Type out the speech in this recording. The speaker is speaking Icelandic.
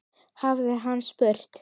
hafði hann spurt.